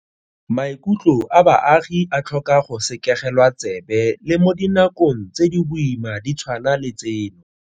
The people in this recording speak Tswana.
Maikutlo a baagi a tlhoka go sekegelwa tsebe le mo dinakong tse di boima di tshwana le tseno.